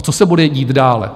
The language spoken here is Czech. A co se bude dít dále?